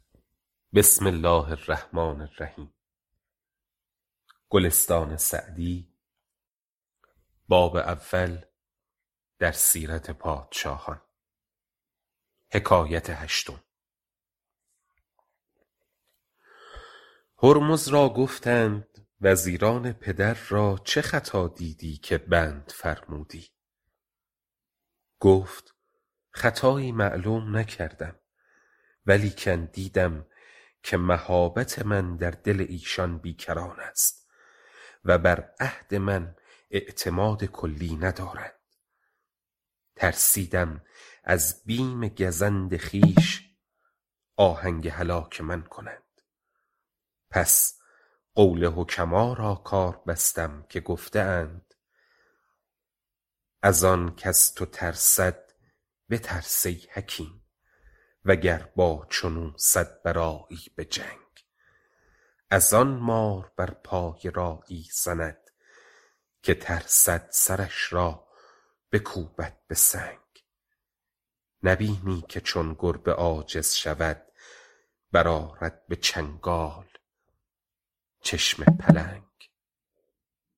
هرمز را گفتند وزیران پدر را چه خطا دیدی که بند فرمودی گفت خطایی معلوم نکردم ولیکن دیدم که مهابت من در دل ایشان بی کران است و بر عهد من اعتماد کلی ندارند ترسیدم از بیم گزند خویش آهنگ هلاک من کنند پس قول حکما را کار بستم که گفته اند از آن کز تو ترسد بترس ای حکیم وگر با چون او صد برآیی به جنگ از آن مار بر پای راعی زند که ترسد سرش را بکوبد به سنگ نبینی که چون گربه عاجز شود برآرد به چنگال چشم پلنگ